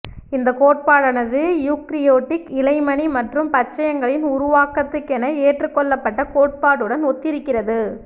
இந்தக் கோட்பாடானது யூக்கரியோட்டிக் இழைமணி மற்றும் பச்சையங்களின் உருவாக்கத்துக்கென ஏற்றுக்கொள்ளப்பட்ட கோட்பாடுடன் ஒத்திருக்கிறது